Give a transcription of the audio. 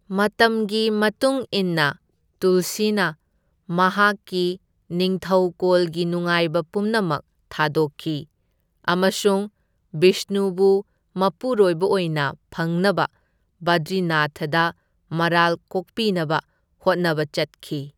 ꯃꯇꯝꯒꯤ ꯃꯇꯨꯡ ꯏꯟꯅ, ꯇꯨꯜꯁꯤꯅ ꯃꯍꯥꯛꯀꯤ ꯅꯤꯡꯊꯩꯀꯣꯜꯒꯤ ꯅꯨꯡꯉꯥꯏꯕ ꯄꯨꯝꯅꯃꯛ ꯊꯥꯗꯣꯛꯈꯤ ꯑꯃꯁꯨꯡ ꯕꯤꯁꯅꯨꯕꯨ ꯃꯄꯨꯔꯣꯏꯕ ꯑꯣꯏꯅ ꯐꯪꯅꯕ ꯕꯗ꯭ꯔꯤꯅꯥꯊꯗ ꯃꯔꯥꯜ ꯀꯣꯛꯄꯤꯅꯕ ꯍꯣꯠꯅꯕ ꯆꯠꯈꯤ꯫